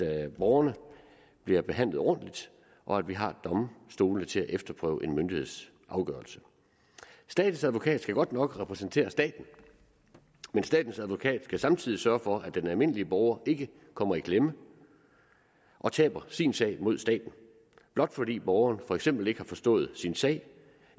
at borgerne bliver behandlet ordentligt og at vi har domstolene til at efterprøve en myndigheds afgørelse statens advokat skal godt nok repræsentere staten men statens advokat skal samtidig sørge for at den almindelige borger ikke kommer i klemme og taber sin sag mod staten blot fordi borgeren for eksempel ikke har forstået sin sag